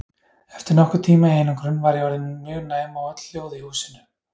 Eftir nokkurn tíma í einangrun var ég orðin mjög næm á öll hljóð í húsinu.